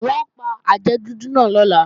Wọn ò pa àjẹ́ dúdú náà lọ́la